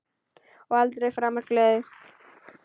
Og aldrei framar gleði.